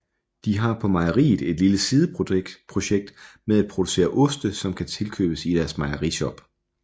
De har på mejeriet et lille sideprojekt med at producere oste som kan tilkøbes i deres mejerishop